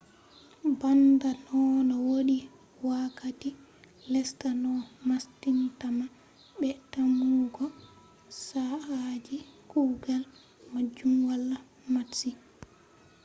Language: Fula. banda nonno ,wodi wakkati lesta no mastintama be tammugo saa'aaji kugal majum wala matsi. bremer,1998